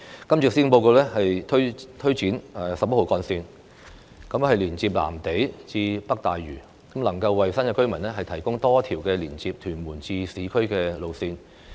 今次施政報告推展十一號幹線連接藍地至北大嶼，能夠為新界居民提供多一條連接屯門至市區的路線。